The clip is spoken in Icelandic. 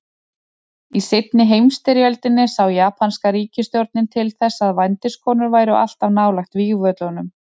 Í seinni heimsstyrjöldinni sá japanska ríkisstjórnin til þess að vændiskonur væru alltaf nálægt vígvöllunum.